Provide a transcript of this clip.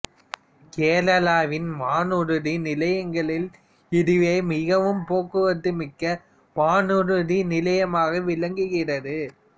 கேரளாவின் வானூர்தி நிலையங்களில் இதுவே மிகவும் போக்குவரத்து மிக்க வானூர்தி நிலையமாக விளங்குகிறது